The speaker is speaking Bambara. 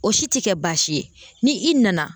O si te kɛ baasi ye ni i nana